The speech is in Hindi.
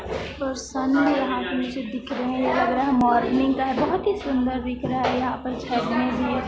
यहाँ पे मुझे दिख रहे है ये लग रहा है मॉर्निंग का बहुत ही सुंदर दिख रहा है यहाँ पर छत में भी है।